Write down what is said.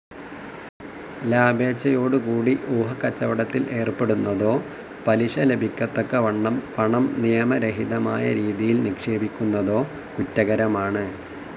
ലാഭേച്ഛയോടുകൂടി ഊഹക്കച്ചവടത്തിൽ ഏർപ്പെടുന്നതോ പലിശ ലഭിക്കത്തക്കവണ്ണം പണം നിയമരഹിതമായ രീതിയിൽ നിക്ഷേപിക്കുന്നതോ കുറ്റകരമാണ്.